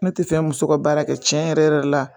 Ne tɛ fen muso ka baara kɛ tiɲɛ yɛrɛ yɛrɛ la